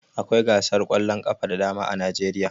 Akwai gasar ƙwallon ƙafa da dama a Najeriya